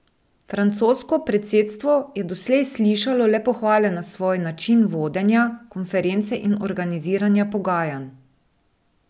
Francosko predsedstvo je doslej slišalo le pohvale na svoj način vodenja konference in organiziranja pogajanj.